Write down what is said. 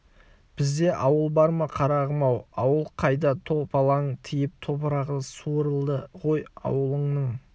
бізде ауыл бар ма қарағым-ау ауыл қайда топалаң тиіп топырағы суырылды ғой ауылыңның